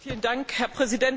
Herr Präsident!